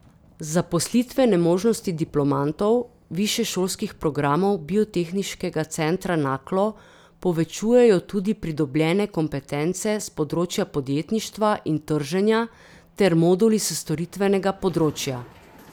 Zaposlitvene možnosti diplomantov višješolskih programov Biotehniškega centra Naklo povečujejo tudi pridobljene kompetence s področja podjetništva in trženja ter moduli s storitvenega področja.